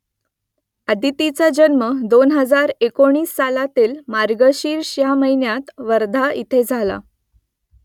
अदितीचा जन्म दोन हजार एकोणीस सालातील मार्गशीर्ष ह्या महिन्यात वर्धा इथे झाला